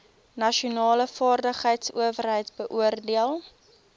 nasionale vaardigheidsowerheid beoordeel